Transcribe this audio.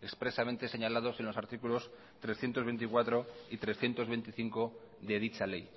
expresamente señalados en los artículos trescientos veinticuatro y trescientos veinticinco de dicha ley